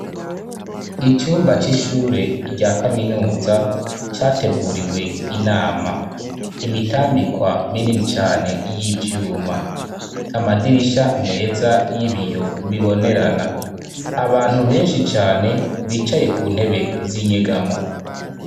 Icumba c'ishure rya kaminuza, categuriwe inama. Imitambikwa minini cane y'ivyuma. Amadirisha meza y'ibiyo bibonerana. Abantu benshi cane, bicaye ku ntebe z'inyegamo.